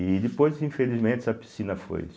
E depois, infelizmente, essa piscina foi.